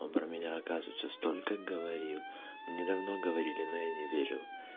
он про меня оказывается столько говорил мне давно говорили но я им не верил